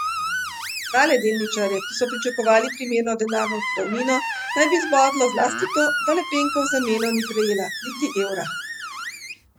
Male delničarje, ki so pričakovali primerno denarno odpravnino, naj bi zbodlo zlasti to, da Lepenka v zameno ni prejela niti evra.